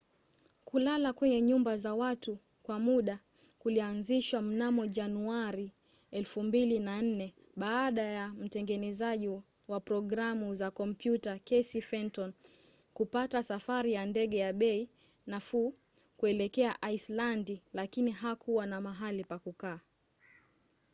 kulala kwenye nyumba za watu kwa muda kulianzishwa mnamo januari 2004 baada ya mtengenezaji wa programu za kompyuta casey fenton kupata safari ya ndege ya bei nafuu kuelekea aislandi lakini hakuwa na mahali pa kukaa